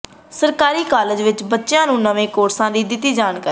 ਸਰਕਾਰੀ ਕਾਲਜ ਵਿਚ ਬੱਚਿਆਂ ਨੂੰ ਨਵੇਂ ਕੋਰਸਾਂ ਦੀ ਦਿੱਤੀ ਜਾਣਕਾਰੀ